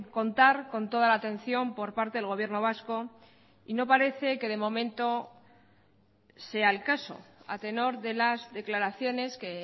contar con toda la atención por parte del gobierno vasco y no parece de momento sea el caso a tenor de las declaraciones que